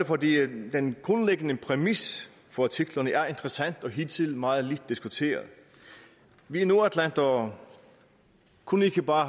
fordi den grundlæggende præmis for artiklerne er interessant og hidtil meget lidt diskuteret vi nordatlantere kunne ikke bare